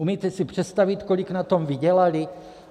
Umíte si představit, kolik na tom vydělali?